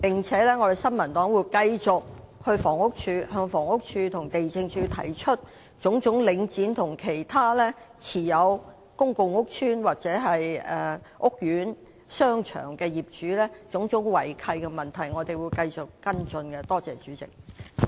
此外，新民黨會繼續向房屋署和地政署，提出領展及其他持有公共屋邨或屋苑商場的業主的種種違契問題，我們會繼續跟進有關事宜。